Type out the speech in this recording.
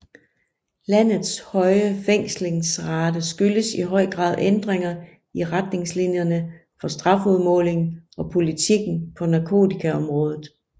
Landets høje fængslingsrate skyldes i høj grad ændringer i retningslinjerne for strafudmåling og politikken på narkotikaområdet